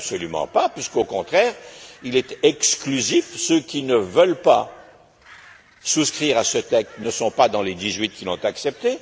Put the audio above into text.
Mais absolument pas puisque, au contraire, il est exclusif ceux qui ne veulent pas souscrire à ce texte ne sont pas dans les dix huit qui l'ont accepté.